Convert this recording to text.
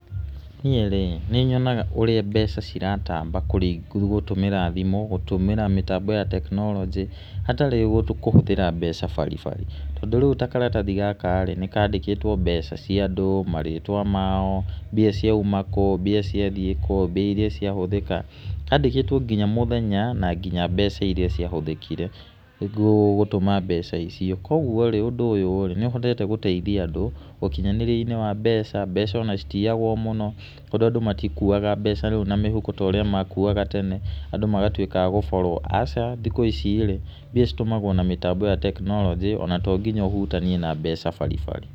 Niĩ rĩ nĩnyonaga ũrĩa mbeca ciratamba gũtũmĩra thimũ, gũtũmĩra mĩtambo ya tekinoronjĩ hatarĩ kũhũthĩra mbeca baribari, tondũ rĩu ta karatathi gaka-rĩ, nĩkandĩkĩtwo mbeca cia andũ, marĩtwa mao, mbia ciauma kũũ, mbia ciathiĩ kũũ, mbia iria ciahũthĩka, handĩkĩtwo nginya mũthenya, na nginya mbeca iria ciahũthĩkire, nĩguo gũtũma mbeca icio, koguo-rĩ ũndũ ũyũ-rĩ nĩ ũhotete gũteithia andũ ũkinyanĩria-inĩ wa mbeca, mbeca ona citiiyagwo mũno, tondũ andũ matikuaga mbeca na mĩhuko ta ũrĩa makuaga tene, andũ magatũĩka a gũborwo, aca, thikũ ici-rĩ mbia citũmagwo na mĩtambo ta tekinoronjĩ ona to nginya ũhutanie na mbeca baribari.